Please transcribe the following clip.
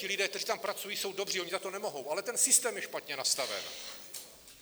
Ti lidé, kteří tam pracují, jsou dobří, oni za to nemohou, ale ten systém je špatně nastaven.